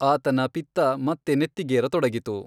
ಆತನ ಪಿತ್ತ ಮತ್ತೆ ನೆತ್ತಿಗೇರತೊಡಗಿತು.